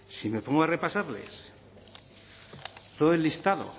si me pongo a repasarles todo el listado